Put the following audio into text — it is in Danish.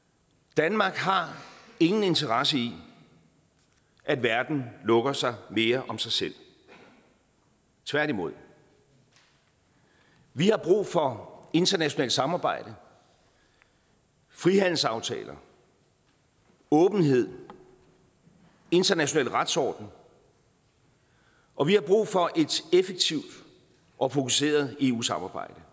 danmark har ingen interesse i at verden lukker sig mere om sig selv tværtimod vi har brug for internationalt samarbejde frihandelsaftaler åbenhed en international retsorden og vi har brug for et effektivt og fokuseret eu samarbejde